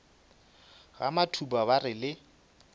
ga matuba ba re le